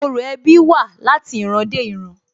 Orò ẹbí wa wá láti ìran dé ìran